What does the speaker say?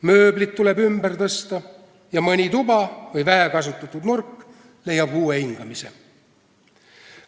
Mööblit tuleb ümber tõsta ja mõni tuba või vähekasutatud nurk leiab uue hingamise.